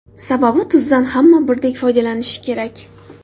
Sababi tuzdan hamma birdek foydalanishi kerak.